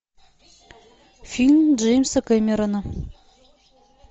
фильм джеймса кэмерона